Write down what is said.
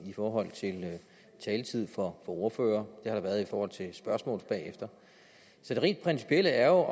i forhold til taletid for ordførere der har været det i forhold til spørgsmål bagefter så det rent principielle er